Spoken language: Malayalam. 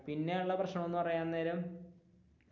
പിന്നെയുള്ള പ്രശ്നം എന്ന് പറയാൻ നേരം.